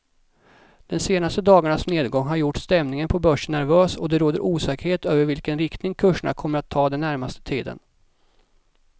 Den senaste dagarnas nedgång har gjort stämningen på börsen nervös och det råder osäkerhet över vilken riktning kurserna kommer ta den närmaste tiden.